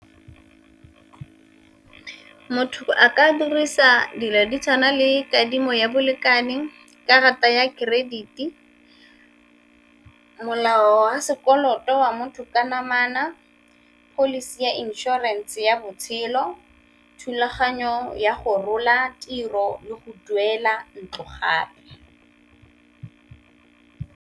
Motho a ka dirisa dilo di tshwana le kadimo ya bolekane, karata ya credit, molao wa sekoloto wa motho ka namana, pholisi ya inšorense ya botshelo, thulaganyo ya go rola tiro le go duela ntlo gape.